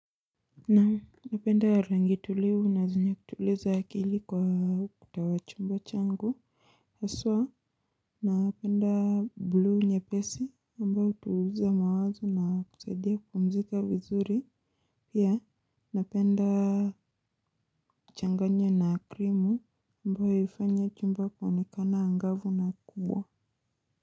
Naam napenda rangi tulivu na zenye kutuliza akili kwa kutawachumba changu aswa naapenda blue nyepesi mbao utuliza mawazo na kusaidia kupumzika vizuri pia napenda kuchanganya na krimu ambayo hiifanya chumba kuonekana angavu na kuwa.